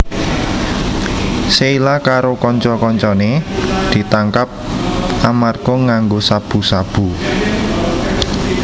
Sheila karo kanca kancané ditangkap amarga nganggo sabu sabu